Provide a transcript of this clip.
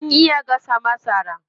Ana iya gasa masara.